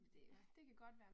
Ja